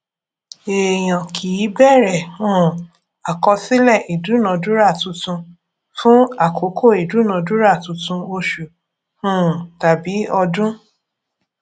èèyàn kì í bẹrẹ um àkọsílẹ ìdúnadúrà tuntun fún àkókò ìdúnadúrà tuntun oṣù um tàbí ọdún